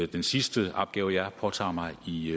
den sidste opgave jeg har påtaget mig i